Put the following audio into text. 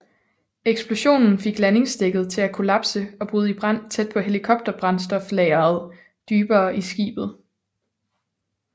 Eksplosionen fik landingsdækket til at kollapse og bryde i brand tæt på helikopterbrændstoflageret dybere i skibet